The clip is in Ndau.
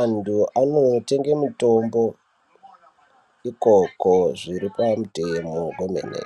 antu anonotenge mitombo ikoko zviri pamutemo kwemene.